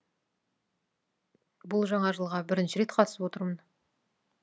бұл жаңа жылға бірінші рет қатысып отырмын